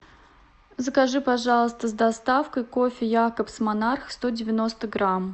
закажи пожалуйста с доставкой кофе якобс монарх сто девяносто грамм